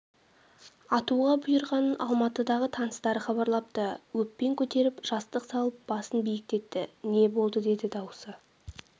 атуға бұйырғанын алматыдағы таныстары хабарлапты еппен көтеріп жастық салып басын биіктетті не болды деді дауысы